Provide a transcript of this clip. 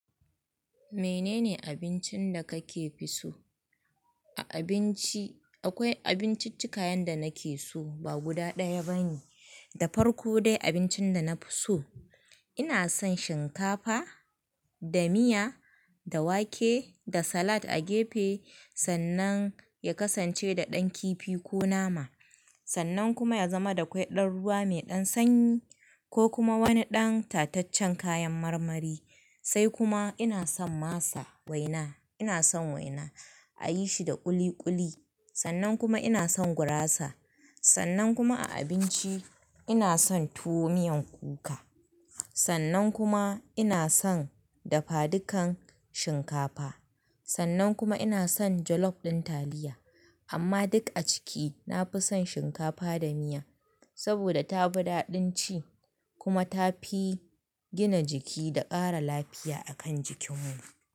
Menene abincin da kake fi so? A abinci akwai abinciccika yanda nake so ba guda ɗaya bane. Da farko dai abincin da na fi so, ina son shinkafa da miya, da wake da salad a gefe sannan ya kasance da ɗan kifi ko nama. Sannan kuma ya zama da ƙwai ɗan ruwa mai ɗan sanyi ko kuma wani ɗan tataccen kayan marmari. Sai kuma ina son masa waina, ina son waina a yi shi da ƙuli ƙuli. Sannan kuma ina son gurasa. Sannan kuma a abinci ina son tuwo miyan kuka. Sannan kuma ina son dafadukan shinkafa. Sannan kuma ina son jollof ɗin taliya. Amma duk a ciki na fi son shinkafa da miya saboda ta fi daɗin ci kuma ta fi gina jiki da ƙara lafiya a kan jikin mu.